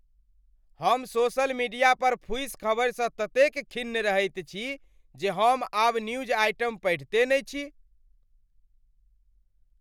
हम social media पर फूसि खबरि स ततेक खिन्न रहैत छी जे हम आब न्यूज आइटम पढ़िते नहि छी।